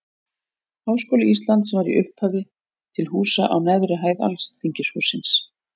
Háskóli Íslands var í upphafi til húsa á neðri hæð Alþingishússins.